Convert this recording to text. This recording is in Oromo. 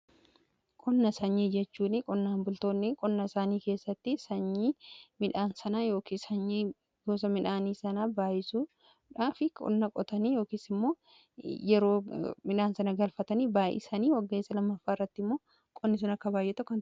Qonna sanyii jechuun qonnaan bultoonni qonna isaanii keessatti sanyii midhaan sana yookiis sanyii gosa midhaanii sana baay'isuudhaa fi qonna qotanii yookiis immoo yeroo midhaan sana galfatanii baay'isanii wagga isa lammaffaa irratti immoo qonni sun akka baay'atu taasisa.